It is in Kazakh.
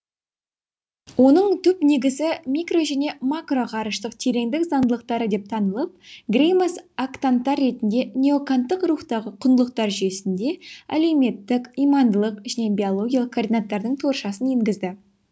оның түп негізі микро және макроғарыштық тереңдік заңдылықтары деп танылып греймас актанттар ретінде неоканттық рухтағы құндылықтар жүйесіне әлеуметтік имандылық және биологиялық координаттардың торшасын енгізді